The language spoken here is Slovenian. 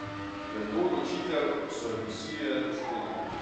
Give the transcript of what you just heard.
V to odločitev so jo prisilile poškodbe.